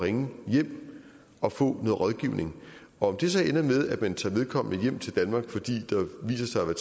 at ringe hjem og få noget rådgivning om det så ender med at man tager vedkommende hjem til danmark fordi der viser sig at